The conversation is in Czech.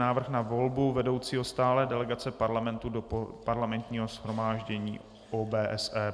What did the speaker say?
Návrh na volbu vedoucího stálé delegace Parlamentu do Parlamentního shromáždění OBSE